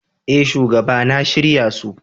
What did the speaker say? Eh shugaba na shirya su.